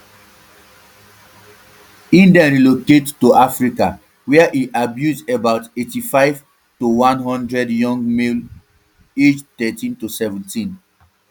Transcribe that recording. e den relocate to africa wia e abuse about eighty-five to one hundred young male children aged thirteen to seventeen